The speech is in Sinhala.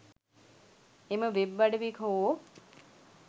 එම වෙබ් අඩවි හෝ